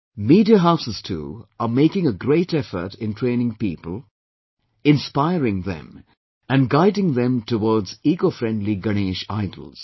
Media houses too, are making a great effort in training people, inspiring them and guiding them towards ecofriendly Ganesh idols